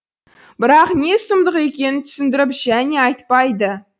бірақ не сұмдық екенін түсіндіріп және айтпайды